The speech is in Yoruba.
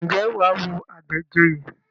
Ǹjẹ́ wà á wo Àbẹ̀joyè?